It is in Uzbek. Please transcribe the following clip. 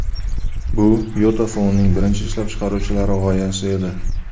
Bu YotaPhone’ning birinchi ishlab chiqaruvchilari g‘oyasi edi.